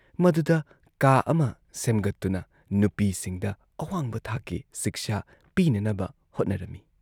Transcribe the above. ꯃꯗꯨꯗ ꯀꯥ ꯑꯃ ꯁꯦꯝꯒꯠꯇꯨꯅ ꯅꯨꯄꯤꯁꯤꯡꯗ ꯑꯋꯥꯡꯕ ꯊꯥꯛꯀꯤ ꯁꯤꯛꯁꯥ ꯄꯤꯅꯅꯕ ꯍꯣꯠꯅꯔꯝꯏ ꯫